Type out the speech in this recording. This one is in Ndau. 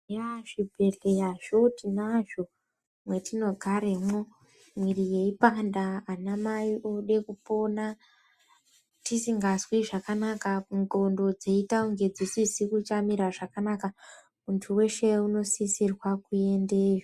Yaaah! zvibhehleyazvo tinazvo mwetinogaremwo mwiri yeipanda anamai ode kupona , tisingazwi zvakanaka ,ndhlondo dzeita kunge dzisisiri kumire zvakanaka muntu wese unosisirwa kuendeyo.